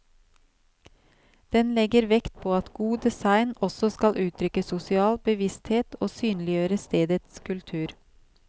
Den legger vekt på at god design også skal uttrykke sosial bevissthet og synliggjøre stedets kultur.